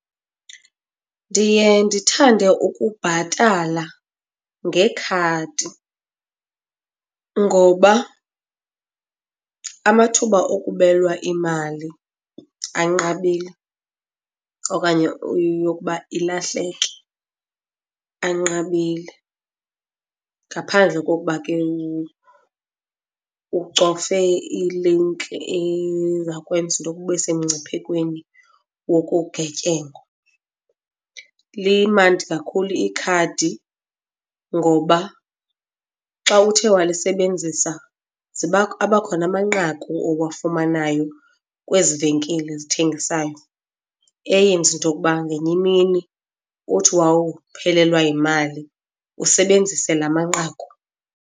Ndiye ndithande ukubhatala ngekhadi ngoba amathuba okubelwa imali anqabile okanye yokuba ilahleki anqabile, ngaphandle kokuba ke ucofe ilinki eza kwenza into yokuba ube semngciphekweni wokugetyengwa. Limandi kakhulu ikhadi ngoba xa uthe walisebenzisa, abakhona amanqaku owafumanayo kwezi venkile zithengisayo eyenza into yokuba ngenye imini uthi wawuphelelwa yimali usebenzise laa manqaku.